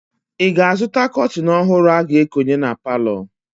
Ị ga-azụta kọtịn ọhụrụ a ga-ekonye na palọ?